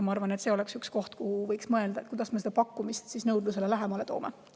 Ma arvan, et see oleks üks koht, millele võiks mõelda: kuidas me pakkumist nõudlusele lähemale toome.